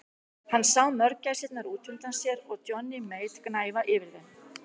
Hann sá mörgæsirnar út undan sér og Johnny Mate gnæfa yfir þeim.